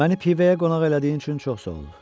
Məni pivəyə qonaq elədiyin üçün çox sağ ol.